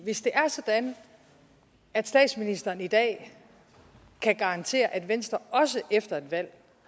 hvis det er sådan at statsministeren i dag kan garantere at venstre også efter et valg